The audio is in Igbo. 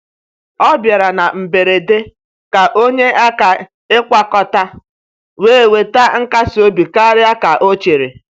Ọ bịara na mberede ka ọ nyee aka ịkwakọta, wee weta nkasi obi karịa ka ọ chere.